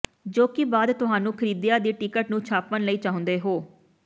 ਜੋ ਕਿ ਬਾਅਦ ਤੁਹਾਨੂੰ ਖਰੀਦਿਆ ਦੀ ਟਿਕਟ ਨੂੰ ਛਾਪਣ ਲਈ ਚਾਹੁੰਦੇ ਹੋ